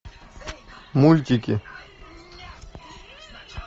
мультики